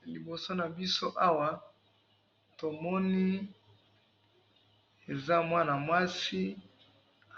na liboso nabiso awa tomoni, eza muana muasi